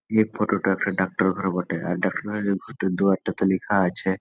এই ফটো টা একটা ডাক্তারঘর বটে ।আর ডাক্তারঘর টার দোয়ার টাতে লিখা আছে।